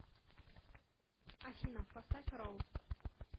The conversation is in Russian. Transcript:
афина поставь ролл